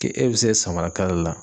Ke e bɛ se samara kala la.